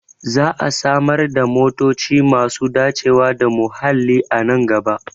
Za a samar da motoci masu dacewa da muhalli a nan gaba